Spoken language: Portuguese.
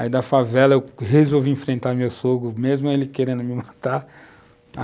Aí, da favela, eu resolvi enfrentar meu sogro, mesmo ele querendo me matar.